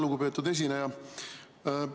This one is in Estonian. Lugupeetud esineja!